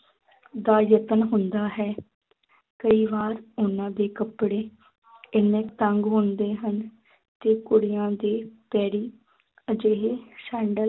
ਦਾ ਯਤਨ ਹੁੰਦਾ ਹੈ ਕਈ ਵਾਰ ਉਹਨਾਂ ਦੇ ਕੱਪੜੇ ਇੰਨੇ ਤੰਗ ਹੁੰਦੇ ਹਨ ਕਿ ਕੁੜੀਆਂ ਦੇ ਪੈਰੀ ਅਜਿਹੇ ਸੈਂਡਲ